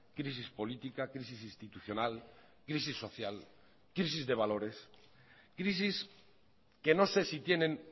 crisis política crisis institucional crisis social crisis de valores crisis que no sé si tienen